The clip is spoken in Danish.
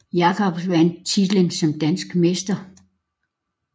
Jacobsen vandt titlen som dansk mester